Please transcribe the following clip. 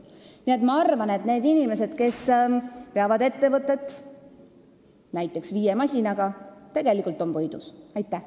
Nii et ma arvan, et need inimesed, kellel on ettevõte näiteks viie masinaga, tegelikult võidavad.